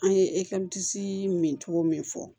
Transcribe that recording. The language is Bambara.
An ye min togo min fɔ